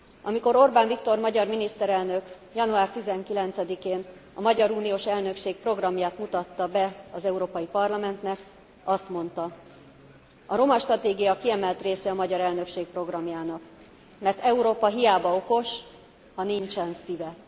Amikor Orbán Viktor magyar miniszterelnök január 19 én a magyar uniós elnökség programját mutatta be az Európai Parlamentnek, azt mondta a roma stratégia kiemelt része a magyar elnökség programjának, mert Európa hiába okos, ha nincsen szíve.